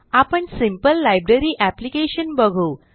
आपण simple library application बघू